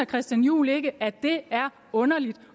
christian juhl ikke at det er underligt